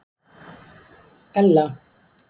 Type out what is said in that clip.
Ella